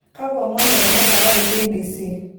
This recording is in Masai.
kakwa omon etenakata te k. b.c